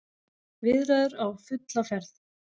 Viðræður á fulla ferð